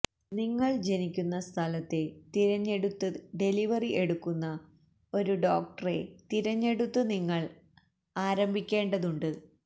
നിങ്ങൾ ജനിക്കുന്ന സ്ഥലത്തെ തിരഞ്ഞെടുത്ത് ഡെലിവറി എടുക്കുന്ന ഒരു ഡോക്ടറെ തിരഞ്ഞെടുത്ത് നിങ്ങൾ ആരംഭിക്കേണ്ടതുണ്ട്